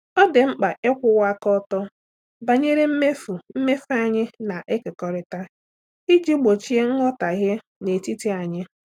Ọ dị mkpa ịkwụwa aka ọtọ banyere mmefu mmefu anyị na-ekekọrịta iji gbochie nghọtahie n'etiti anyị.